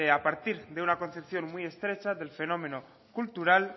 a partir de una concepción muy estrecha del fenómeno cultural